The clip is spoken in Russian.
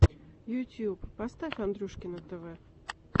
ютюб поставь андрюшкино тв